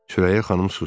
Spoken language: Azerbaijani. Sürəyya xanım susdu.